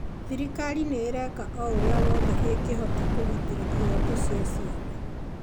thirikari nĩ ĩreeka o ũrĩa wothe ĩngĩhota kũgitĩra ihoto cia ciana